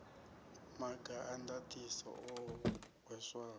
maga a ndaṱiso o hweswaho